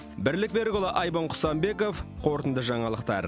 бірлік берікұлы айбын құсанбеков қорытынды жаңалықтар